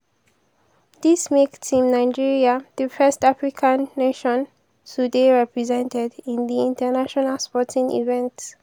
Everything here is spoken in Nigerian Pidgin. dis make team nigeria di first african nation to dey represented in di international sporting event.